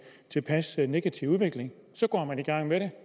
tilpas negativ udvikling og så går man i gang med det